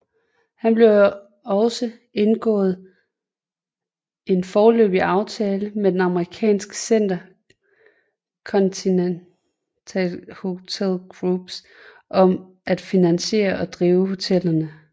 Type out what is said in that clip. Der blev også indgået en foreløbig aftale med den amerikanske InterContinental Hotels Group om at finansiere og drive hotellet